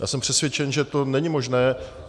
Já jsem přesvědčen, že to není možné.